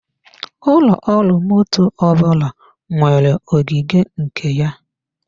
Ụlọ ọrụ motto ọbụla nwere ogige nke ya.